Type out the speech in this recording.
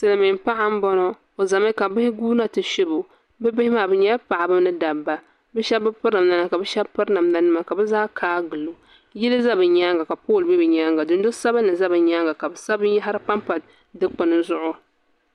Silmiin paɣa n bɔŋɔ o ʒɛmi ka bia guuna ti shɛbo bihi maa bi nyɛla paɣaba ni dabba bi shab bi piri namda nima ka bi shab piri namda nima ka bi zaa kaa gilo yili ʒɛ bi nyaanga ka pool ʒɛ bi nyaanga ka bi sabi binyahari panpa dikpuni zuɣu